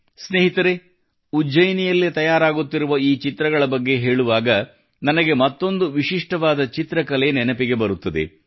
ಸ್ನೇಹಿತರೇ ಉಜ್ಜಯಿನಿಯಲ್ಲಿ ತಯಾರಾಗುತ್ತಿರುವ ಈ ಚಿತ್ರಗಳ ಬಗ್ಗೆ ಹೇಳುವಾಗ ನನಗೆ ಮತ್ತೊಂದು ವಿಶಿಷ್ಟವಾದ ಚಿತ್ರಕಲೆ ನೆನಪಿಗೆ ಬರುತ್ತದೆ